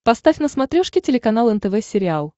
поставь на смотрешке телеканал нтв сериал